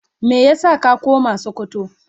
Meya sa ka koma sokoto.?